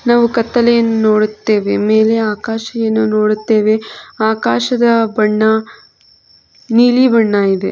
ನಾವು ಕತ್ತಲೆಯನ್ನು ನೋಡುತ್ತೇವೆ ಮೇಲೆ ಆಕಾಶವನ್ನು ನೋಡುತ್ತೇವೆ ಆಕಾಶದ ಬಣ್ಣ ನೀಲಿ ಬಣ್ಣ ಇದೆ.